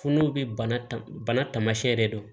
Funu be bana taamasiyɛn de don